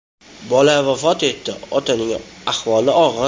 Bola vafot etdi, otaning ahvoli og‘ir.